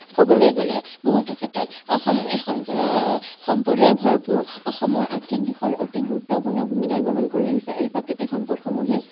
কবলৈ গলে বহুতো ক্ষেত্ৰত অসম এখন আহ সম্পদেৰে ভৰপূৰ। অসমৰ আৰ্থিক দিশত অতি গুৰুত্বপূৰ্ণ ভূমিকা গ্ৰহণ কৰি আহিছে এই প্ৰাকৃতিক সম্পদসমূহে।